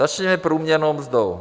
Začněme průměrnou mzdou.